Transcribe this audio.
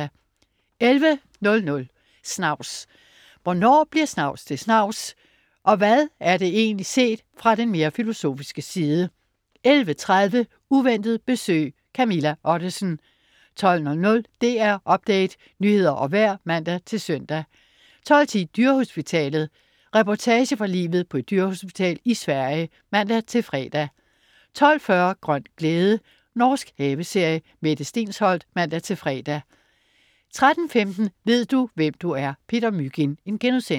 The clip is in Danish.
11.00 Snavs. Hvornår bliver snavs til snavs, og hvad er det egentlig set fra den mere filosofiske side? 11.30 Uventet besøg. Camilla Ottesen 12.00 DR Update. Nyheder og vejr (man-søn) 12.10 Dyrehospitalet. Reportage fra livet på et dyrehospital i Sverige (man-fre) 12.40 Grøn glæde. Norsk haveserie. Mette Stensholt (man-fre) 13.15 Ved du, hvem du er? Peter Mygind*